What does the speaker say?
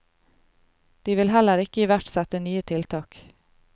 De vil heller ikke iverksette nye tiltak.